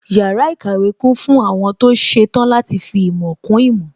Yàrá ìkàwé kún fún àwọn tó ṣetán láti fi ìmọ̀ kún ìmọ̀